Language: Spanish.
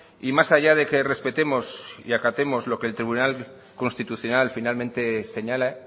y más allá de que respetemos y acatemos lo que el tribunal constitucional finalmente señale